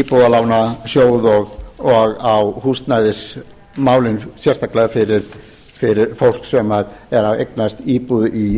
íbúðalánasjóð og á húsnæðismálin sérstaklega fyrir fólk sem er að eignast íbúð í fyrsta sinn það þarf því